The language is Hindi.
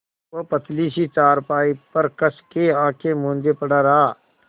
वह पतली सी चारपाई पर कस के आँखें मूँदे पड़ा रहा